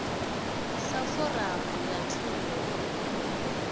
sa foramu ya thungo u